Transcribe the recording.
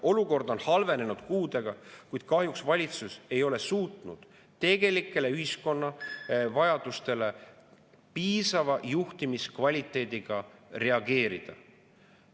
Olukord on halvenenud kuudega, kuid kahjuks valitsus ei ole suutnud tegelikele ühiskonna vajadustele piisava juhtimiskvaliteediga reageerida.